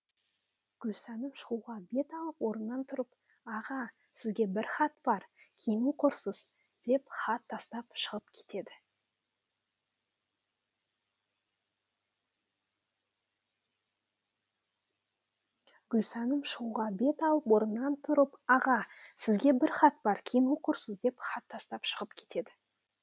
гүлсәнім шығуға бет алып орнынан тұрып аға сізге бір хат бар кейін оқырсыз деп хат тастап шығыпкетеді